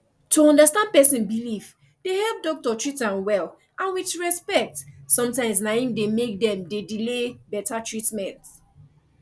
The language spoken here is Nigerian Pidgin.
to understand person believe dey help doctor treat am well and with respect sometimes na im make dem de delay better treatment